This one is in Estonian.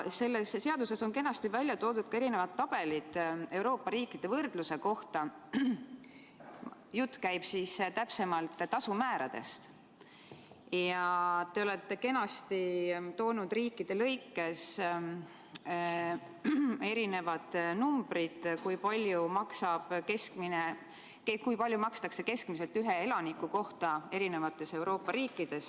Seletuskirjas on aga tabelid Euroopa riikide võrdluse kohta, jutt käib tasumääradest, ja te olete kenasti riikide kaupa ära toonud, kui palju makstakse keskmiselt ühe elaniku kohta.